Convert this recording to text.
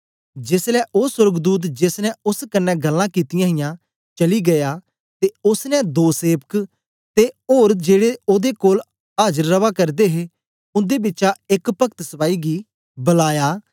जेसलै ओ सोर्गदूत जेस ने ओस कन्ने गल्लां कित्तियां हियां चली गीया ते ओसने दो सेवक ते ओर जेड़े ओदे कोल आजर रवा करदे हे उंदे बिचा एक भक्त सपाई गी बलाया